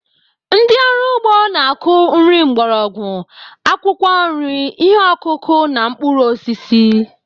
Ndị ọrụ ugbo na-akụ nri mgbọrọgwụ, akwụkwọ nri, ihe ọkụkụ, na mkpụrụ osisi.